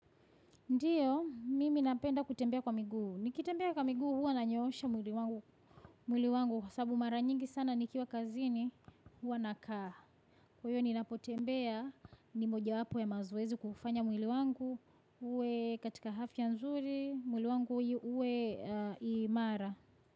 Ndiyo, mimi napenda kutembea kwa miguu. Nikitembea kwa miguu, huwa nanyoosha mwili wangu. Sababu mara nyingi sana nikiwa kazini, huwa nakaa. Kwa hiyo ninapotembea, ni mojawapo ya mazoezi kuufanya mwili wangu. Uwe katika afya nzuri, mwili wangu uwe imara.